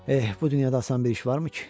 Eh, bu dünyada asan bir iş varmı ki?